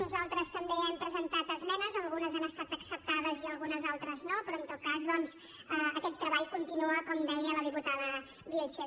nosaltres també hem presentat esmenes algunes han estat acceptades i algunes altres no però en tot cas doncs aquest treball continua com deia la diputada vilches